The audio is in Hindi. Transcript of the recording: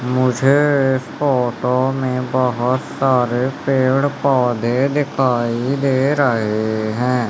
मुझे इस फोटो में बहोत सारे पेड़ पौधे दिखाई दे रहे है।